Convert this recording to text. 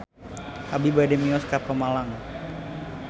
Abi bade mios ka Pemalang